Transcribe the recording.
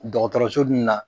Dɔgɔtɔrɔso dun na